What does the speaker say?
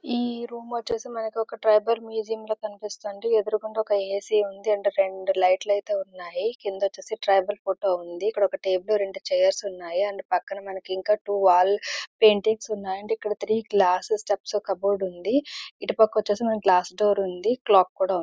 ఈ రూమ్ వచ్చేసి మనకు ఒక ట్రైపర్ మ్యూజియం రూమ్ లాగా కనిపిస్తోంది ఎదురు కూడా ఒక ఏసీ ఉంది రెండు లైట్స్ ఐతే ఉనాయి క్రింద వచ్చేసి ట్రైపర్ ఫోటో ఉంది. ఇక్కడ ఒక టేబుల్ రెండు చైర్స్ ఉన్నాయి. అండ్ పక్కన మనకి టూ వాల్ పెయింటింగ్స్ ఉన్నాయి. అండ్ ఇక్కడ త్రీ గ్లాస్ స్టెప్ కబోర్డ్ ఉంది. ఇటు పక్క వచ్చేసి గ్లాస్ డోర్ ఉంది. క్లాక్ కూడా ఉంది.